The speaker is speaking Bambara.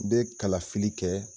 bɛ kala fili kɛ